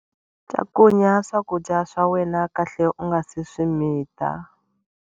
Cakunya swakudya swa wena kahle u nga si swi mita